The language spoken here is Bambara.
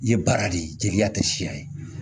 I ye baara de ye jeliya tɛ siya ye